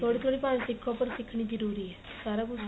ਥੋੜੀ ਥੋੜੀ ਭਾਸ਼ਾ ਸਿਖੋ ਪਰ ਸਿਖਣੀ ਜਰੂਰੀ ਏ ਸਾਰਾ ਕੁੱਝ